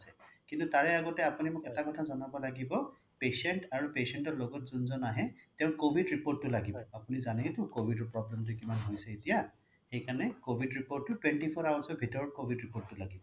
কিন্তু তাৰে আগতে আপুনি মোক এটা কথা জনাব লাগিব patient আৰু patient ৰ লগত যোনজন আহে তেওঁৰ covid report টো লাগিব আপুনি যাননেই টো covid ৰ problem টো কিমান হৈছে এতিয়া সেইকাৰণে covid report টো twenty four hours ৰ ভিতৰত covid report টো লাগিব